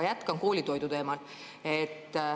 Jätkan koolitoidu teemal.